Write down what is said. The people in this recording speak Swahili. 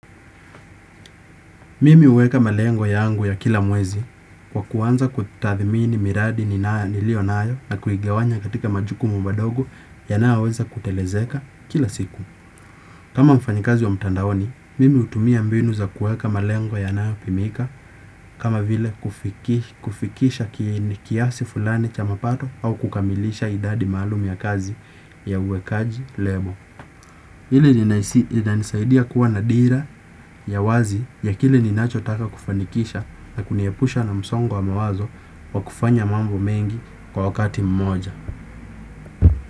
Mimi huweka malengo yangu ya kila mwezi kwa kuanza kutathmini miradi nilio nayo na kuigawanya katika majukumu madogo yanayoweza kutelezeka kila siku. Kama mfanyikazi wa mtandaoni, mimi hutumia mbinu za kuweka malengo yanayopimika kama vile kufikisha kiasi fulani cha mapato au kukamilisha idadi maalum ya kazi ya uwekaji lebo. Hili linanisaidia kuwa na dira ya wazi ya kile ninachotaka kufanikisha na kuniepusha na msongo wa mawazo wa kufanya mambo mengi kwa wakati mmoja.